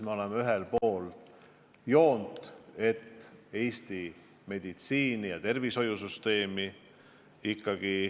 Me oleme ühel pool rindejoont.